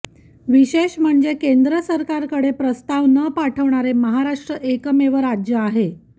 विशेष म्हणजे केंद्र सरकारकडे प्रस्ताव न पाठवणारे महाराष्ट्र एकमेव राज्य आहे